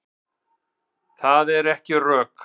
Það eru ekki rök.